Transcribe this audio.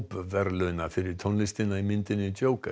verðlauna fyrir tónlistina í myndinni